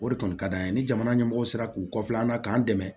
O de kɔni ka d'an ye ni jamana ɲɛmɔgɔ sera k'u kɔfɛ an na k'an dɛmɛ